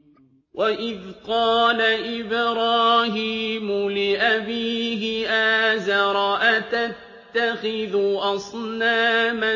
۞ وَإِذْ قَالَ إِبْرَاهِيمُ لِأَبِيهِ آزَرَ أَتَتَّخِذُ أَصْنَامًا